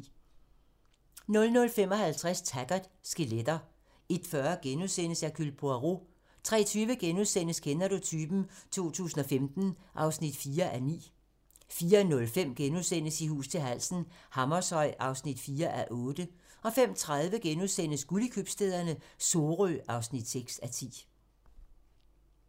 00:55: Taggart: Skeletter 01:40: Hercule Poirot * 03:20: Kender du typen? 2015 (4:9)* 04:05: I hus til halsen - Hammershøj (4:8)* 05:30: Guld i købstæderne - Sorø (6:10)*